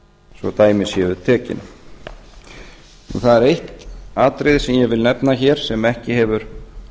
svo dæmi séu tekin það er eitt atriði sem ég vil nefna hér sem ekki hefur